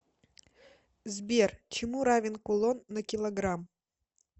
сбер чему равен кулон на килограмм